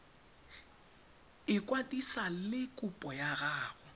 ikwadisa le kopo ya gago